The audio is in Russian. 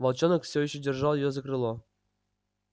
волчонок всё ещё держал её за крыло